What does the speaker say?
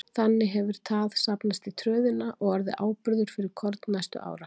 Þannig hefur tað safnast í tröðina og orðið áburður fyrir korn næstu ára.